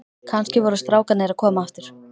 Kannski voru strákarnir að koma aftur.